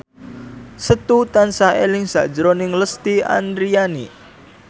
Setu tansah eling sakjroning Lesti Andryani